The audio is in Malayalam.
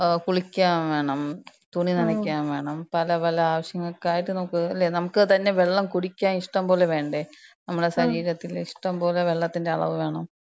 കുളിക്കാൻ വേണം. തുണിനനയ്ക്കാൻ വേണം. പല പല ആവശ്യങ്ങൾക്കായിട്ട് നമ്ക്ക് ലേ, നമ്ക്ക് തന്നെ വെള്ളം കുടിക്കാൻ ഇഷ്ടംപോലെ വേണ്ടേ? മ്മളെ ശരീരത്തില് ഇഷ്ടംപോലെ വെള്ളത്തിന്‍റെ അളവ് വേണം.